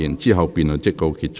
之後辯論即告結束。